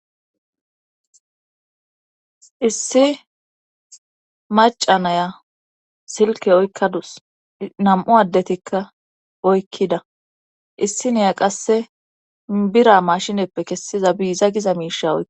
Issi maca naya silke oykkadus. Nam'u addetikka oykkida. Issi niya qasse bira maashineppe kessiza biiza giza miisha oyikadasu.